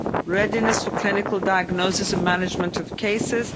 readiness for clinical diagnosis and management of cases